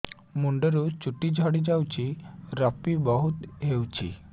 ମୁଣ୍ଡରୁ ଚୁଟି ଝଡି ଯାଉଛି ଋପି ବହୁତ ହେଉଛି